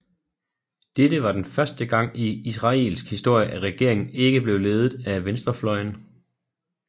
Dette var den første gang i israelsk historie at regeringen ikke blev ledet af venstrefløjen